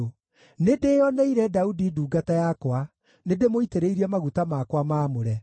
Nĩndĩĩoneire Daudi ndungata yakwa; nĩndĩmũitĩrĩirie maguta makwa maamũre.